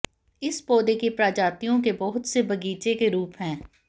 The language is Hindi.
इस पौधे की प्रजातियों के बहुत से बगीचे के रूप हैं